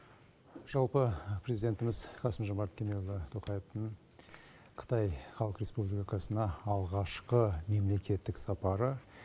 жалпы президентіміз қасым жомарт кемелұлы тоқаевтың қытай халық республикасына алғашқы мемлекеттік сапары